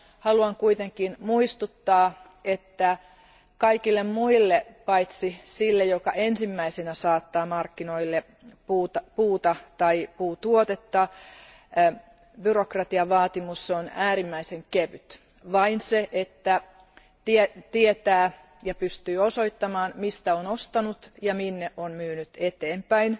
Haluan kuitenkin muistuttaa, että kaikille muille paitsi sille, joka ensimmäisenä saattaa markkinoille puuta tai puutuotetta, byrokratian vaatimus on äärimmäisen kevyt vain se, että tietää ja pystyy osoittamaan, mistä on ostanut ja minne on myynyt eteenpäin.